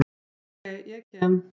Ok, ég kem.